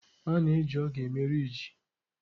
A na-eji ogu eme ihe riijị.